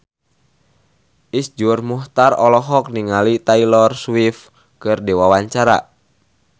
Iszur Muchtar olohok ningali Taylor Swift keur diwawancara